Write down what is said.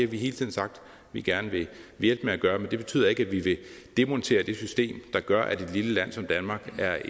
vi hele tiden sagt vi gerne vil hjælpe med at gøre men det betyder ikke at vi vil demontere det system der gør at et lille land som danmark er